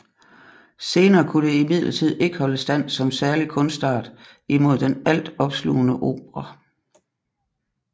Senere kunne det imidlertid ikke holde stand som særlig kunstart imod den alt opslugende opera